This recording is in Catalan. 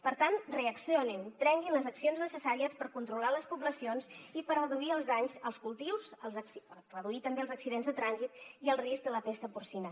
per tant reaccionin prenguin les accions necessàries per controlar les poblacions i per reduir els danys als cultius reduir també els accidents de trànsit i el risc de la pesta porcina